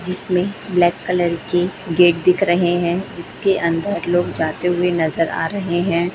जिसमें black colour के gate दिख रहे हैं जिसके अंदर लोग जाते हुए नजर आ रहे हैं।